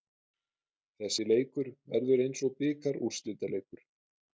Þessi leikur verður eins og bikarúrslitaleikur.